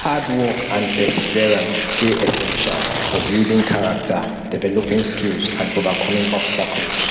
hard work and perseverance dey essential for building character developing skills and overcoming obstacles